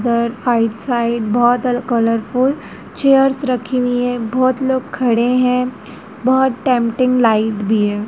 Side बहोत colourful chairs रखी हुई है बहोत लोग खड़े हैं बहोत टेंपटिंग लाइट भी है।